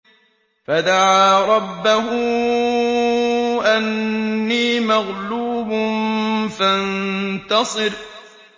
فَدَعَا رَبَّهُ أَنِّي مَغْلُوبٌ فَانتَصِرْ